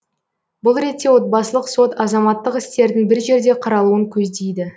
бұл ретте отбасылық сот азаматтық істердің бір жерде қаралуын көздейді